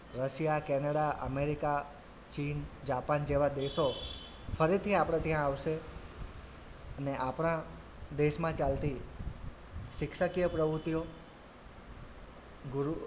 Russia, Canada, America, ચીન, Japan જેવા દેશો ફરીથી આપડે ત્યાં આવશે અને આપણા દેશમાં ચાલતી શિક્ષકીય પ્રવુતિઓ ગુરુ,